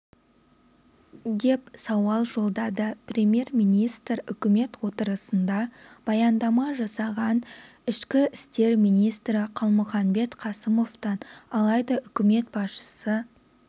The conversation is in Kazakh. деп сауал жолдады премьер-министр үкімет отырысында баяндама жасаған ішкі істер министрі қалмұханбет қасымовтан алайда үкімет басшысы